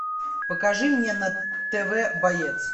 покажи мне на тв боец